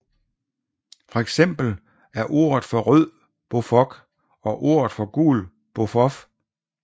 For eksempel er ordet for rød bofoc og ordet for gul bofof